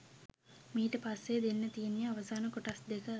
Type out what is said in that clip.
මීට පස්සේ දෙන්න තියෙන්නේ අවසාන කොටස් දෙක